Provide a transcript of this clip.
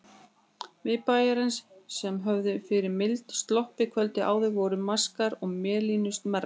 Miðbæjarins, sem höfðu fyrir mildi sloppið kvöldið áður, voru maskaðar mélinu smærra.